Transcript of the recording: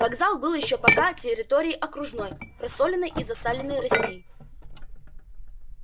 вокзал был ещё пока территорией окружной просоленной и засаленной россии